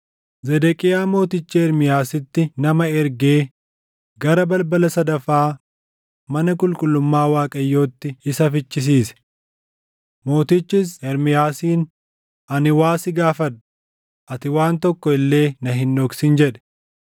Zedeqiyaa Mootichi Ermiyaasitti nama ergee gara balbala sadaffaa mana qulqullummaa Waaqayyootti isa fichisiise. Mootichis Ermiyaasiin, “Ani waa sin gaafadha; ati waan tokko illee na hin dhoksin” jedhe.